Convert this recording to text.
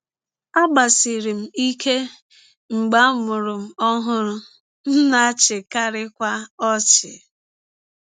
Agbasiri m ike mgbe a mụrụ m ọhụrụ, m na - achịkarịkwa ọchị.